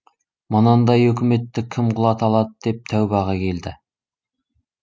мынандай өкіметті кім құлата алады деп тәубаға келді